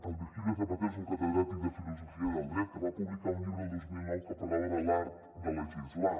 el virgilio zapatero és un catedràtic de filosofia del dret que va publicar un llibre el dos mil nou que parlava de l’art de legislar